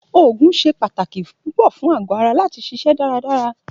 Òògùn se pàtàkì púpọ fún àgó ara lati ṣiṣẹ daradara.